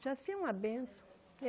Jaci é uma benção.